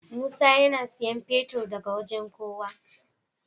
Musa yAna siyan fetir daka wajan kowa